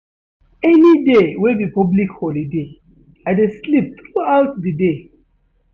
Any day wey be public holiday, I dey sleep throughout di day.